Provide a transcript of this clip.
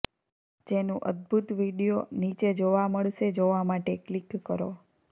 જેનું અદભુત વિડીયો નીચે જોવા મળશે જોવા માટે ક્લિક કરો